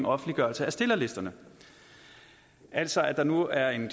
offentliggørelse af stillerlisterne altså at der nu er en